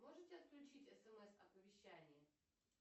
можете отключить смс оповещание